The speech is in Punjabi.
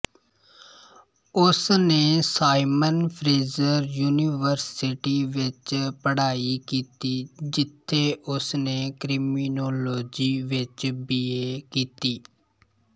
ਉਸਨੇ ਸਾਈਮਨ ਫਰੇਜ਼ਰ ਯੂਨੀਵਰਸਿਟੀ ਵਿੱਚ ਪੜ੍ਹਾਈ ਕੀਤੀ ਜਿਥੇ ਉਸਨੇ ਕ੍ਰਿਮੀਨੋਲੋਜੀ ਵਿੱਚ ਬੀ ਏ ਕੀਤੀ